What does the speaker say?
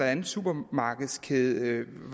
anden supermarkedskædes